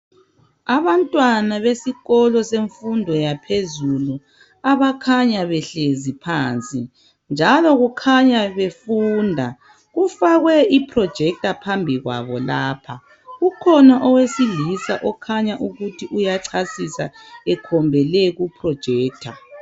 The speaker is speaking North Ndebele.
abantwana besikolo semfundo yaphezulu abakhanya behlezi phansi njalo kukhanya befunda kufakwe i projector phambi kwabo lapha kukhona owesilisa okhanya ukuthi uyachasisaekhombele ku projector